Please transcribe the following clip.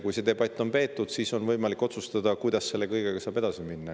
Kui see debatt on peetud, siis on võimalik otsustada, kuidas saab selle kõigega edasi minna.